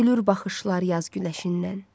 Gülür baxışlar yaz günəşindən.